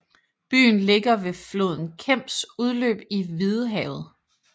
Byen ligger ved floden Kems udløb i Hvidehavet